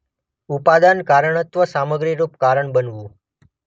ઉપાદાન કારણત્વ - સામગ્રીરૂપ કારણ બનવું.